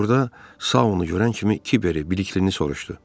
Burada Saonu görən kimi Kiver Bəliklini soruşdu.